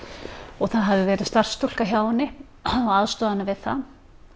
og það hafði verið starfsstúlka hjá henni að aðstoða hana við það